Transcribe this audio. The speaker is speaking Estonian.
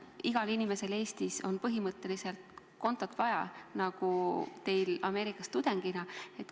Igal inimesel Eestis on põhimõtteliselt kontot vaja, nii nagu teil Ameerikas tudengina.